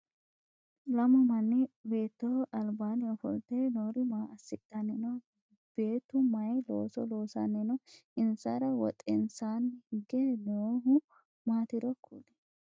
Lamu manni beettoho albaanni ofolte noori maa assidhanni no? Beetu mayi looso loosanni no? Insara wotensaanni hige noohu maatiro kuli?